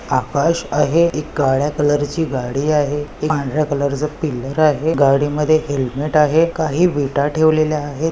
आकाश आहे एक काळ्या कलर ची गाडी आहे पांढर्‍या कलर च पिललर आहे गाडीमध्ये हेलमेट आहे. काही विटा ठेवलेल्या आहेत.